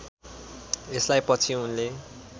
यसलाई पछि उनले